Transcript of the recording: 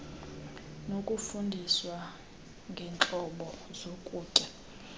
nokufundiswa ngeentlobo zokutya